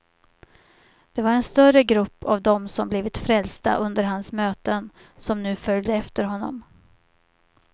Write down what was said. Det var en större grupp av dem som blivit frälsta under hans möten som nu följde efter honom.